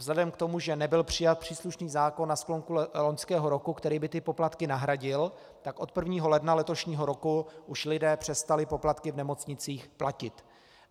Vzhledem k tomu, že nebyl přijat příslušný zákon na sklonku loňského roku, který by ty poplatky nahradil, tak od 1. ledna letošního roku už lidé přestali poplatky v nemocnicích platit.